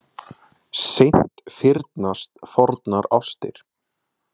Seint fyrnast fornar ástir.